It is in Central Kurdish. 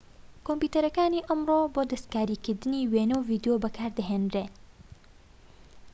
کۆمپیوتەرەکانی ئەمڕۆ بۆ دەستکاریکردنی وێنە و ڤیدیۆ بەکاردەهێنرێن